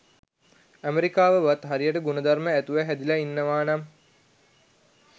අමෙරිකවවත් හරියට ගුණ ධර්ම ඇතුව හැදිලා ඉන්නවා නම්